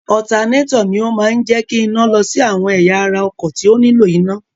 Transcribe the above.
Ọ̀tanátọ̀ ni ó máa ń jẹ́ kí iná lọ sí àwọn ẹ̀yà ara ọkọ̀ tí ó nílò iná.